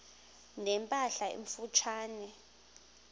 ne mpahla emfutshane